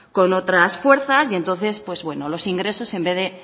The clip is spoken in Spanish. con otras fuerzas y entonces los ingresos en vez de